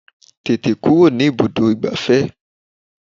Tètè kúrò ní ibùdó ìgbafẹ́!